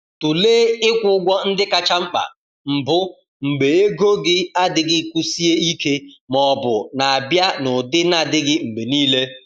Tụlee ịkwụ ụgwọ ndị kacha mkpa mbụ mgbe ego gị adịghị kwụsie ike ma ọ bụ na-abịa n’ụdị na-adịghị mgbe niile.